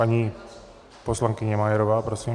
Paní poslankyně Majerová, prosím.